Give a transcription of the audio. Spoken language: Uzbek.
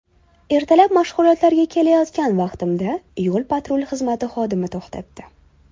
Ertalab mashg‘ulotlarga ketayotgan vaqtimda yo‘l patrul xizmati xodimi to‘xtatdi.